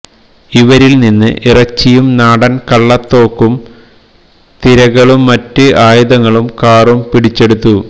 ഇവരില് നിന്ന് ഇറച്ചിയും നാടന് കളളത്തോക്കും തിരകളും മറ്റ് ആയുധങ്ങളും കാറും പിടിച്ചെടുത്തു